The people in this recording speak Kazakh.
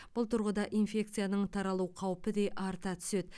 бұл тұрғыда инфекцияның таралу қаупі де арта түседі